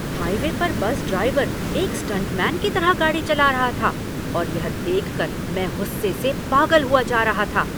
Highway पर bus driver एक stuntman की तरह गाड़ी चला रहा था और यह देख कर मैं गुस्से से पागल हुआ जा रहा था।